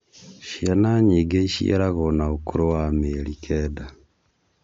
Ciana nyingi iciaragwo na ũkũrũ wa mĩeri kenda